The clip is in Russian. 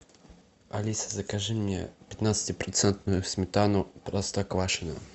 алиса закажи мне пятнадцати процентную сметану простоквашино